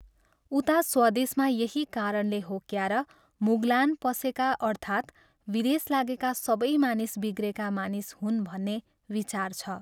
उता स्वदेशमा यही कारणले हो क्यार मुगलान पसेका अर्थात् विदेश लागेका सबै मानिस बिग्रेका मानिस हुन् भन्ने विचार छ।